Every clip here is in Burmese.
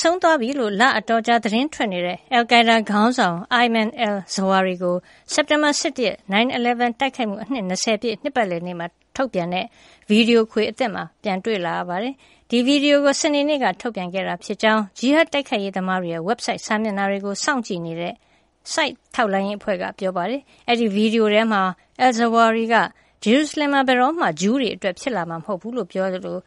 ဆုံးသွားပြီလု့ိ လအတော်ကြာ သတင်းတွေထွက်နေတဲ့ အယ်လ်ကိုင်းဒါး ခေါင်းဆောင် Ayman al-Zawahri ကို စက်တင်ဘာ ၁၁ ရက် 9/11 တိုက်ခိုက်မှု အနှစ် ၂၀ ပြည့် နှစ်ပတ်လည်နေ့အတွက် ထုတ်ပြန်တဲ့ ဗွီဒီယိုခွေအသစ်မှာ ပြန်တွေ့လာရပါတယ်။ ဒီဗွီဒီယိုကို စနေနေ့က ထုတ်ပြန်ခဲ့တာဖြစ်ကြောင်း ဂျီဟတ်တိုက်ခိုက်ရေးသမားတွေရဲ့ ဝက်ဘ်ဆိုက်စာမျက်နှာတွေကို စောင့်ကြည့်နေတဲ့ SITE ထောက်လှမ်းရေးအဖွဲ့က ပြောပါတယ်။ အဲဒီဗွီဒီယိုထဲမှာ al-Zawahri က ဂျေရုစလင်ဟာ ဘယ်တော့မှ ဂျူးတွေအတွက် ဖြစ်လာမှာမဟုတ်ဘူးလို့ ပြောကြားခဲ့သလို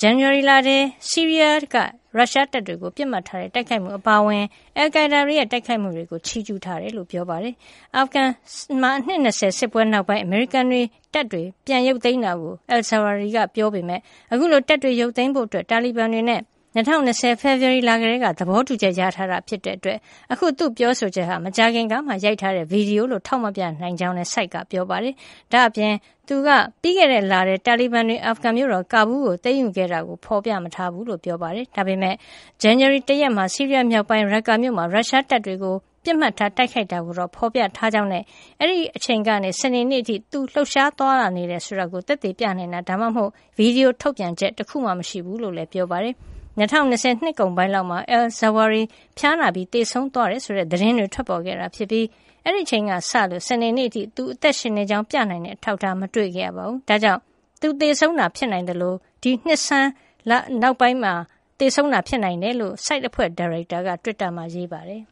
ဇန်နဝါရီလထဲ ဆီးရီးယားက ရုရှားတပ်တွေကို ပစ်မှတ်ထားတဲ့ တိုက်ခိုက်မှု အပါအဝင် အယ်လ်ကိုင်းဒါးတွေရဲ့ တိုက်ခိုက်မှုတွေကို ချီးကျူးထားတယ်လို့ ပြောပါတယ်။ အာဖဂန်နစ္စတန်မှာ အနှစ် ၂၀ စစ်ပွဲနောက်ပိုင်း အမေရိကန်တပ်တွေ ပြန်ရုပ်သိမ်းခဲ့တာကို al-Zawahri က ပြောထားပေမယ့် အခုလို တပ်တွေရုပ်သိမ်းဖို့ တာလီဘန်တွေနဲ့ ၂၀၂၀ ဖေဖော်ဝါရီလကတည်းက သဘောတူညီချက်ရထားတာ ဖြစ်တဲ့အတွက် အခု သူ့ရဲ့ ပြောဆိုချက်ဟာ မကြာခင်ကမှ ရိုက်ထားတဲ့ ဗွီဒီယိုလို့ ထောက်မပြနိုင်ကြောင်းလည်း SITE က ပြောပါတယ်။ ဒါ့အပြင် Al-Zawahri က ပြီးခဲ့တဲ့လထဲ တာလီဘန်တွေ အာဖဂန်မြို့တော် ကာဘူးလ်ကို သိမ်းယူခဲ့တာကိုလည်း ဖော်ပြမထားဘူးလို့ ဆိုပါတယ်။ ဒါပေမယ့် ဇန်နဝါရီလ ၁ ရက်နေ့မှာ ဆီးရီးယားမြောက်ပိုင်းက Raqqa မြို့မှာ ရုရှားတပ်တွေကို ပစ်မှတ်ထား တိုက်ခိုက်တာကိုတော့ ဖော်ပြထားကြောင်းနဲ့ အဲဒီအချိန်ကနေ စနေနေ့အထိ သူလှုပ်ရှားသွားလာနေတယ် ဆိုတာကို သက်သေပြနိုင်တာ ဒါမှမဟုတ် ဗွီဒီယိုထုတ်ပြန်ချက် တခုမှမရှိဘူးလို့လည်း ပြောပါတယ်။ ၂၀၂၀ နှစ်ကုန်ပိုင်းလောက်မှာ al-Zawahri ဖျားနာပြီး သေဆုံးသွားတယ်ဆိုတဲ့ သတင်းတွေ ထွက်ပေါ်ခဲ့တာဖြစ်ပြီး အဲဒီအချိန်ကစလို့ စနေနေ့အထိ သူ အသက်ရှင်နေကြောင်း ပြနိုင်တဲ့ အထောက်ထား မတွေ့ခဲ့ရပါဘူး။ ဒါကြောင့် သူသေဆုံးတာ ဖြစ်နိုင်သလို ဒီနှစ်ဆန်း ဇန်နဝါရီလ နောက်ပိုင်းမှာ သေဆုံးတာ ဖြစ်နိုင်တယ်လို့ SITE အဖွဲ့ ဒါရိုက်တာ Rita Katz က တွစ်တာမှာ ရေးပါတယ်။